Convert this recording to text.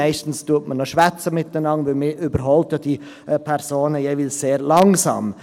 Meistens spricht man noch miteinander, denn man überholt diese Personen ja jeweils sehr langsam.